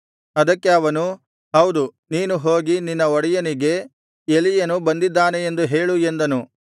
ಅದಕ್ಕೆ ಅವನು ಹೌದು ನೀನು ಹೋಗಿ ನಿನ್ನ ಒಡೆಯನಿಗೆ ಎಲೀಯನು ಬಂದಿದ್ದಾನೆ ಎಂದು ಹೇಳು ಎಂದನು